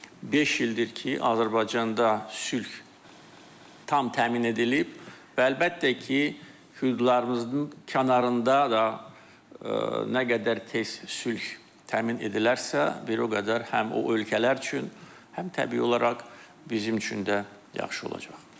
Beş ildir ki, Azərbaycanda sülh tam təmin edilib və əlbəttə ki, hüdudlarımızın kənarında da nə qədər tez sülh təmin edilərsə, bir o qədər həm o ölkələr üçün, həm təbii olaraq bizim üçün də yaxşı olacaq.